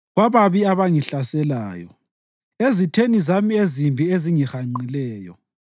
kwababi abangihlaselayo, ezitheni zami ezimbi ezingihanqileyo.